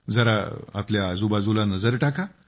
जरा आपल्या आजूबाजूला नजर टाका